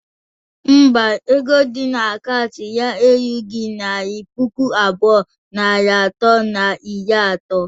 Ḿbà, ego di na akaụntụ ya erughọ naira puku abụọ, narị atọ na iri ato